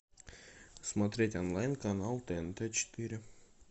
смотреть онлайн канал тнт четыре